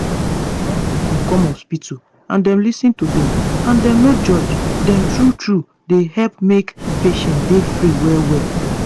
wen patient come hospital and dem lis ten to dem and dem no judge dem true truee dey help make patient dem free well well.